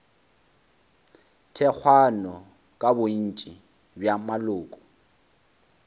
thekgwago ke bontši bja maloko